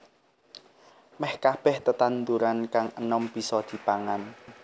Meh kabèh tetanduran kang enom bisa dipangan